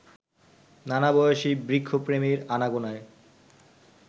নানাবয়সী বৃক্ষপ্রেমীর আনাগোনায়